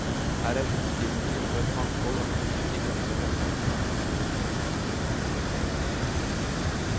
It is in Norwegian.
Her er utstillinger og et mangfold av kurser i gamle håndverkstradisjoner.